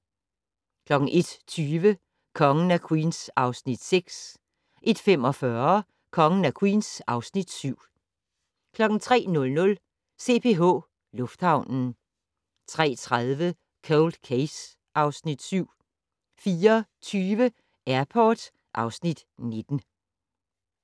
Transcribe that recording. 01:20: Kongen af Queens (Afs. 6) 01:45: Kongen af Queens (Afs. 7) 03:00: CPH Lufthavnen 03:30: Cold Case (Afs. 7) 04:20: Airport (Afs. 19)